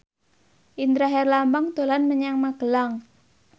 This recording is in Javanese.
Indra Herlambang dolan menyang Magelang